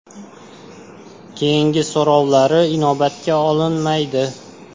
Keyingi so‘rovlari inobatga olinmaydi.